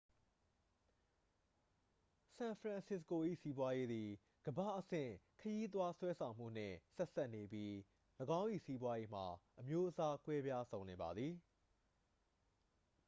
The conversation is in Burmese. san francisco ၏စီးပွားရေးသည် ကမ္ဘာ့အဆင့် ခရီးသွားဆွဲဆောင်မှုနှင့် ဆက်စပ်နေပြီး ၎င်း၏စီးပွားရေးမှာ အမျိုးအစားကွဲပြားစုံလင်ပါသည်